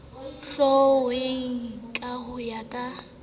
hlwauweng ka ho ya ka